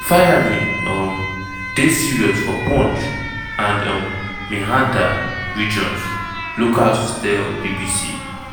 di firing um dey serious for poonch and um mehandar regions locals tell bbc.